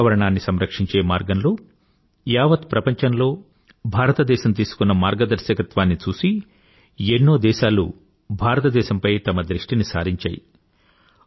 పర్యావరణని సంరక్షించే మార్గంలో యావత్ ప్రపంచంలో భారతదేశం తీసుకున్న మార్గదర్శకత్వాన్ని చూసి ఎన్నో దేశాలు భారతదేశం పై తమ దృష్టిని సారించాయి